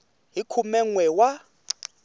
hi khume n we wa